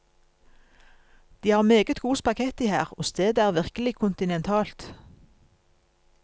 De har meget god spaghetti her, og stedet er virkelig kontinentalt.